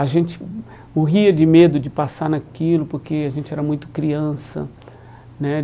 A gente morria de medo de passar naquilo porque a gente era muito criança, né?